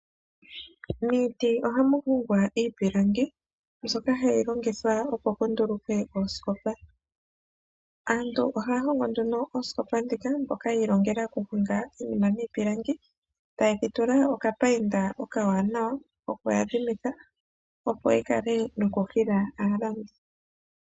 Miiti ihamu hongwa iipilangi mbyoka hayi longithwa opo pundulukwe oosikopa. Aantu ohaya hongo nduno oosikopa dhika ano mbono yi ilongela okuhonga. Uuna ngele ya mana okuhonga oosikopa oha ye dhitula nee opayinda ndjoka ya opalako opo yihile aantu yalande.